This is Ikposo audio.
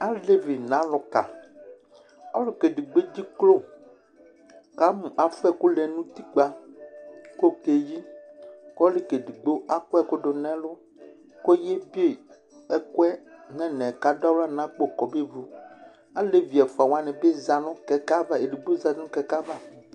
Alevi nʋ alʋka: ɔluka edigbo edziklo kʋ amʋ afua ɛkʋ lɛ nʋ utikpǝ, kʋ okeyi Kʋ ɔluka edigbo akɔ ɛkʋ dʋ nʋ ɛlʋ, kʋ eyi tʋ ɛkʋ yɛ nɛnɛ, kʋ adʋ aɣla nʋ akpo kobevʋ Alevi ɛfʋa wanɩ bɩ aza nʋ kɛkɛ ava